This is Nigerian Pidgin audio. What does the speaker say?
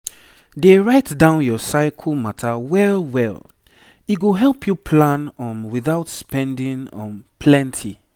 dey write down your cycle matter well well e go help you plan um without spending um plenty.